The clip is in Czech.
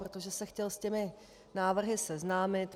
Protože se chtěl s těmi návrhy seznámit.